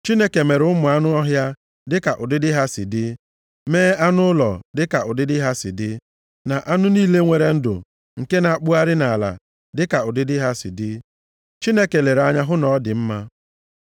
Chineke mere ụmụ anụ ọhịa, dịka ụdịdị ha si dị, mee anụ ụlọ, dịka ụdịdị ha si dị, na anụ niile nwere ndụ nke na-akpụgharị nʼala dịka ụdịdị ha si dị. Chineke lere anya hụ na ọ dị mma.